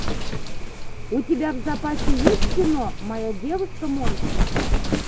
у тебя в запасе есть кино моя девушка монстр